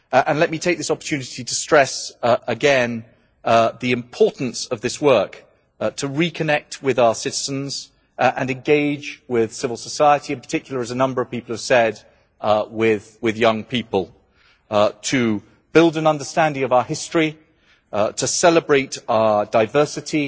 Let me take this opportunity to stress again the importance of this work, to reconnect with our citizens and engage with civil society, in particular as a number of people have said with young people, to build an understanding of our history, to celebrate our diversity,